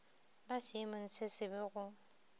ba seemong se sebe go